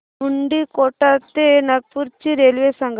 मुंडीकोटा ते नागपूर ची रेल्वे सांगा